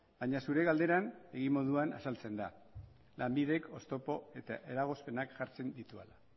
baina zure galderan egi moduan azaltzen da lanbidek oztopo eta eragozpenak jartzen dituela